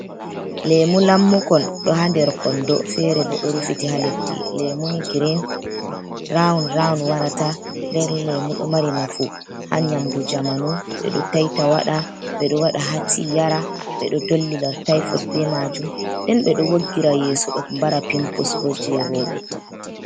Lemu lammukon, ɗo ha der kondo, fere bo ɗo rufiti ha leddi, lemuni green rawun rawun warata, nden lemu ɗo mari nafu ha nyamdu jamanu, ɓe ɗoo taita wada, ɓe ɗoo wada hatii yara, ɓe ɗoo dollira taifod be majuum, den ɓe ɗoo woggira yeso ɗo bara pimpus bo jei rawɓe